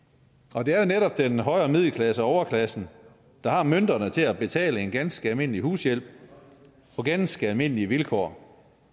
og det er jo netop den højere middelklasse og overklassen der har mønterne til at betale en ganske almindelig hushjælp på ganske almindelige vilkår